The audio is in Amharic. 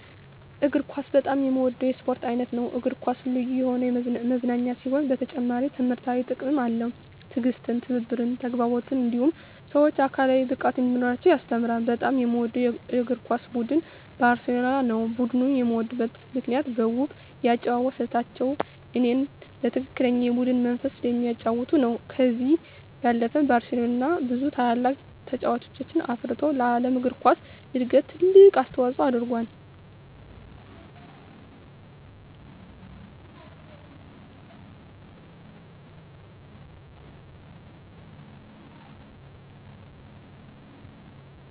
እግር ኳስ በጣም የምወደው የስፖርት አይነት ነው። እግር ኳስ ልዩ የሆነ መዝናኛ ሲሆን በተጨማሪም ትምህርታዊ ጥቅምም አለው። ትዕግስትን፣ ትብብርን፣ ተግባቦትን እንዲሁም ሰወች አካላዊ ብቃት እንዲኖራቸው ያስተምራል። በጣም የምወደው የእግር ኳስ ቡድን ባርሴሎናን ነው። ቡድኑን የምወድበት ምክንያት በውብ የአጨዋወት ስልታቸው እኔ በትክክለኛ የቡድን መንፈስ ስለሚጫወቱ ነው። ከዚህ ባለፈም ባርሴሎና ብዙ ታላላቅ ተጫዋቾችን አፍርቶ ለዓለም እግር ኳስ እድገት ትልቅ አስተዋፅኦ አድርጎአል።